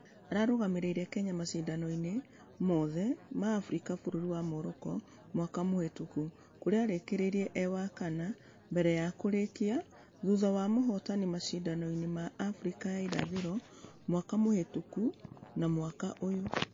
Ararũgamĩrĩire kenya mashidano-inĩ mũthe ma africa bũrũri wa Morocco mwaka mũhĩtũku kũrĩa ararekirie ĩĩ wa kana mbere ya kũrĩkia ĩĩ thutha wa mũhotani mashidano mma africa ya ĩrathĩro mwaka mũhĩtũku na mwaka ũyũ.